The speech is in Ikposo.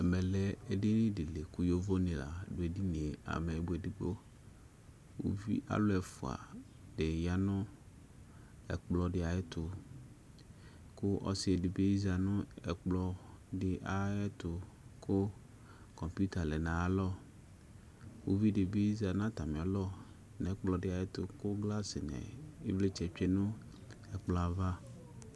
ɛme lɛ edini di ko yovo ni la do edinie, ameyibɔ edigbo alo ɛfua di ya no ɛkplɔ di ayɛto ko ɔsi di bi za no ɛkplɔ di ayɛto ko computer lɛ no ayalɔ uvi di bi za no atame alɔ no ɛkplɔ di ayɛto ko glass no ivlitsɛ tsue no ɛkplɔɛ ava